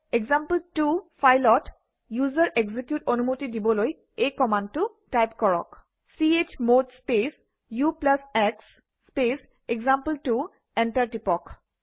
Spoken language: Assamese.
এক্সাম্পল2 ফাইলত ইউজাৰ এক্সিকিউট অনুমতি দিবলৈ এই কমাণ্ডটো টাইপ কৰক - chmod space ux space example two enter টিপক